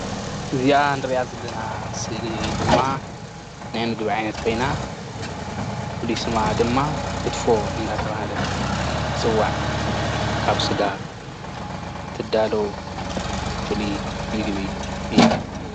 እዚኣ ንሪኣ ዘለና ስእሊ ድማ ናይ ምግቢ ዓይነት ኮይና ፍሉይ ስማ ድማ ክትፎ እናተብሃለት ትፅዋዕ ካብ ስጋ ትዳሎ ፍሉይ ምግቢ እያ